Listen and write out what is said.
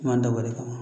Man dab'o kama